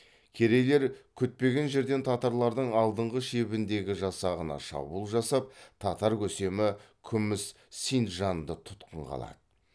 керейлер күтпеген жерден татарлардың алдыңғы шебіндегі жасағына шабуыл жасап татар көсемі күміс синджанды тұтқынға алады